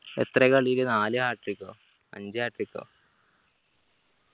എത്രെയെ കളിയില് നാല് hat trick ഓ അഞ്ച് hat trick ഓ